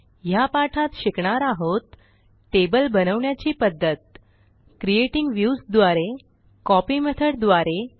ह्या पाठात शिकणार आहोत टेबल बनवण्याची पध्दत a क्रिएटिंग व्ह्यूज द्वारे bCopy मेथॉड द्वारे